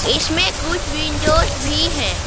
इसमें कुछ विंडोस भी हैं।